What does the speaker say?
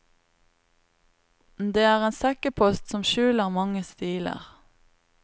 Det er en sekkepost som skjuler mange stiler.